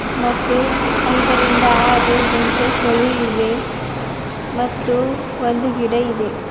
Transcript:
ಮತ್ತು ಐದರಿಂದ ಆರು ಬೆಂಚಸ್ ಗಳು ಇವೆ ಮತ್ತು ಒಂದು ಗಿಡ ಇದೆ.